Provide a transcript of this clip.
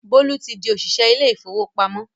Bólú ti di òṣìṣẹ́ ilé ìfowópamọ́